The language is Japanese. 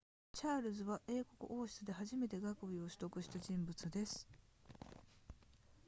チャールズは英国王室で初めて学位を取得した人物です